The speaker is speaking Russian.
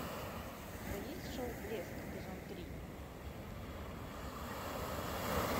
у тебя есть шоу блеск эпизод три